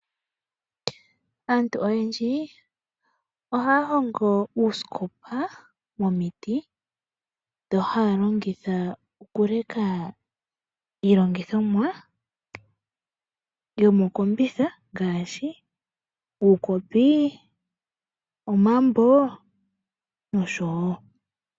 Aantu oyendji ohaa hongo uusikopa momiti, ndho haa longitha okuleka iilongithomwa yomokombitha ngaashi uukopi ,omambo nosho wo.